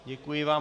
Děkuji vám.